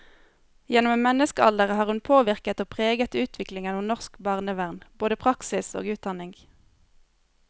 Gjennom en menneskealder har hun påvirket og preget utviklingen av norsk barnevern, både praksis og utdanning.